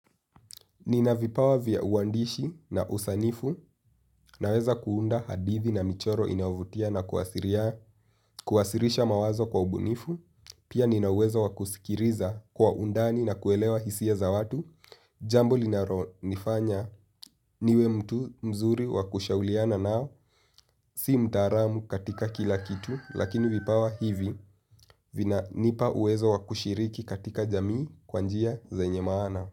Nina vipawa vya uwandishi na usanifu, naweza kuunda hadithi na michoro inayovutia na kuwasilisha mawazo kwa ubunifu, pia ninaweza wakusikiliza kwa undani na kuelewa hisia za watu, jambo linalo nifanya niwe mtu mzuri wakushauliana nao, si mtaalamu katika kila kitu, lakini vipawa hivi vina nipa uwezo wakushiriki katika jamii kwa njia zenye maana.